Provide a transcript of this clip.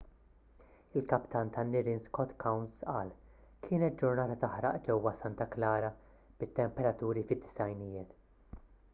il-kaptan tan-nirien scott kouns qal kienet ġurnata taħraq ġewwa santa clara bit-temperaturi fid-90ijiet